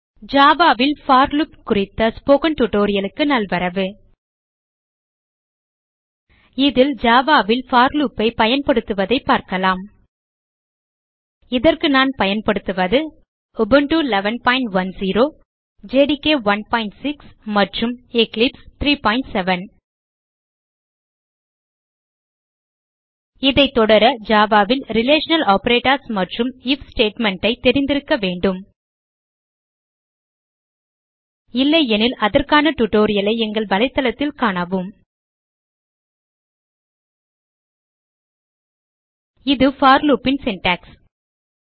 Java ல் for loop குறித்த spoken tutorial க்கு நல்வரவு இதில் Java ல் போர் loopஐ பயன்படுத்துவதைப் பார்க்கலாம் இதற்கு நான் பயன்படுத்துவது உபுண்டு 1110 ஜேடிகே 16 மற்றும் எக்லிப்ஸ் 37 இதை தொடர Java ல் ரிலேஷனல் ஆப்பரேட்டர்ஸ் மற்றும் ஐஎஃப் ஸ்டேட்மெண்ட் ஐ தெரிந்திருக்க வேண்டும் இல்லையெனில் அதற்கான tutorial ஐ எங்கள் வலைத்தளத்தில் காணவும இது போர் loop ன் சின்டாக்ஸ்